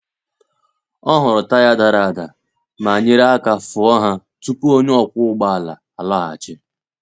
Ọ hụrụ taya dara ada ma nyere aka fụọ ha tupu onye ọkwọ ụgbọ ala alọghachi.